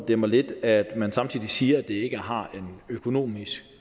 det mig lidt at man samtidig siger at det ikke har en økonomisk